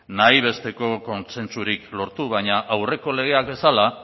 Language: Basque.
nahi besteko kontsentsurik lortu baina aurreko legeak bezala